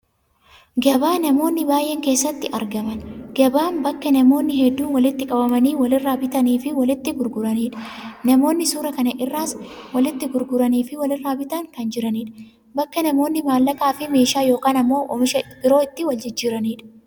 Gabaa namoonni baay'een keessatti argaman. Gabaan bakka namoonni hedduun walitti qabamanii walirraa bitanii fi walitti gurguranidha. Namoonni suuraa kana irraas walitti gurguran fi walirraa bitaa kan jiranidha. Bakka namoonni maallaqaa fi meeshaa yookaan ammoo oomisha biroo itti waljijjiiranidha.